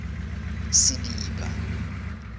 sediba